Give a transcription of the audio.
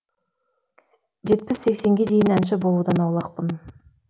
жетпіс сексенге дейін әнші болудан аулақпын